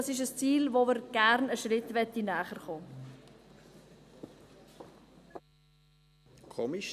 Das ist ein Ziel, dem wir gerne einen Schritt näherkommen möchten.